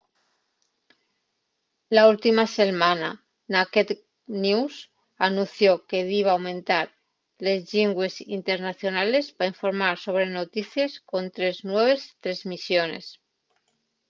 la última selmana naked news anunció que diba aumentar les llingües internacionales pa informar sobre noticies con tres nueves tresmisiones